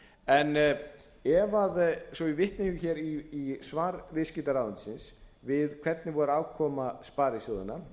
þessa hluti varðar svo ég vitni hér í svar viðskiptaráðuneytisins við hvernig var afkoma sparisjóðanna